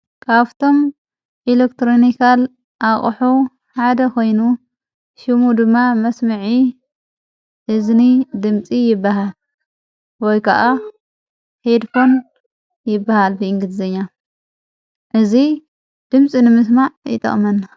ካብቶም ኤሌክትሮኒካል ኣቕሑ ሓደ ኾይኑ ሽሙ ድማ መስሚዒ እዝኒ ድምፂ ይበሃ ወይ ከዓ ሄድፎን ይበሃል ብእንግሊዘኛ እዙይ ድምፂ ንምስማዕ ይጠቅመና።